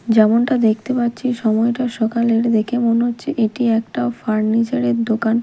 যেমনটা দেখতে পাচ্ছি সময়টা সকালের দেখে মনে হচ্ছে এটি একটা ফার্নিচার -এর দোকান।